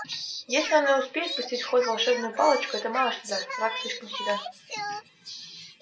если он и успеет пустить в ход волшебную палочку это мало что даст враг слишком силен